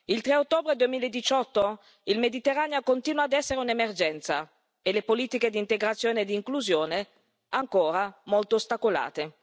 Il 3 ottobre 2018 il Mediterraneo continua ad essere un'emergenza e le politiche di integrazione e di inclusione sono ancora molto ostacolate.